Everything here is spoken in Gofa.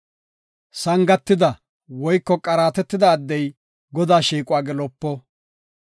Sangatida woyko qaaratetida addey Godaa shiiquwa gelopo.